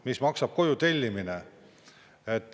Mis maksab koju tellimine?!